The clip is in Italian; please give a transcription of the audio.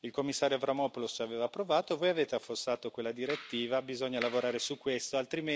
Il commissario Avramopoulos aveva provato e voi avete affossato quella direttiva, bisogna lavorare su questo, altrimenti avremo